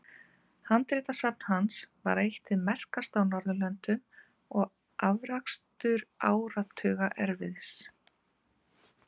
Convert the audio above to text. Handritasafn hans var eitt hið merkasta á Norðurlöndum og afrakstur áratuga erfiðis.